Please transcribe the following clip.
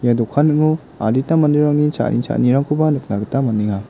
ia dokan ning·o adita manderangni cha·ani cha·anirangkoba nikna gita man·enga.